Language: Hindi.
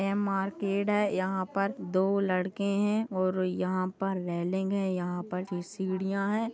ये मार्केट है यहाँ पर दो लड़के है और यहाँ पर रैलिंग है यहाँ पर कुछ सिढीया है।